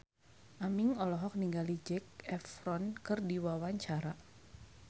Aming olohok ningali Zac Efron keur diwawancara